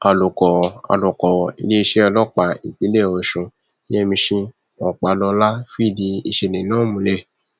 alūkọrọ alūkọrọ iléeṣẹ ọlọpàá ìpínlẹ ọsùn yẹmísì ọpàlọlá fìdí ìṣẹlẹ náà múlẹ